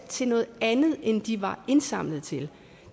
til noget andet end de var indsamlet til